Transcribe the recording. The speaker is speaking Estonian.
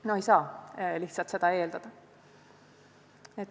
No ei saa lihtsalt seda eeldada!